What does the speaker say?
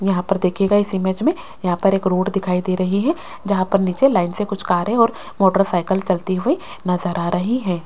यहाँ पर देखियेगा इस इमेज में यहाँ पर एक रोड दिखाई दे रही है जहाँ पर नीचे लाइट से कुछ कारे और मोटरसाइकिल चलती हुई नजर आ रही है।